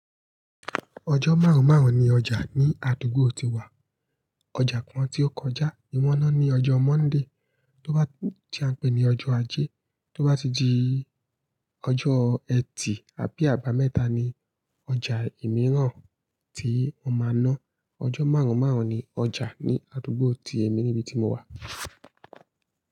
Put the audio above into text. Ọjọ́ márùn-ún márùn-ún ni ọjà ní àdúgbò tí wa. Ọjà kan tí ó kọjá ni wọ́n máa ń ní ọjọ́ Monday to ba, tí a ń pè ní ọjọ́ ajé. Tó bá ti di ọjọ́ Ẹtì àbí àbámẹ́ta ni ọjà imìíràn tí wọ́n máa ná. Ọjọ́ márùn-ún márùn-ún ni ọjà ní àdúgbò tí èmi níbi tí mo wà.